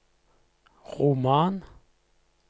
roman